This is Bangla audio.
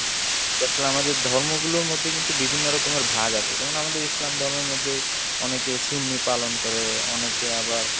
ধর্মগুলোর মধ্যে কিন্তু বিভিন্ন রকমের ভাগ আছে, যেমন আমাদের ইসলাম ধর্মের মধ্যে অনেকে সুন্নি পালন করে, অনেকে আবার